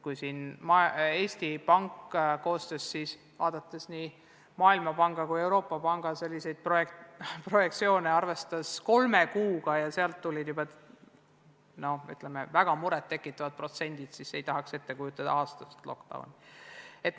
Kui Eesti Pank, vaadates nii Maailmapanga kui ka Euroopa Keskpanga projektsioone, arvestas kolme kuuga ja juba selle põhjal olid need protsendid väga muret tekitavad, siis ei tahaks ette kujutadagi aastast lockdown'i.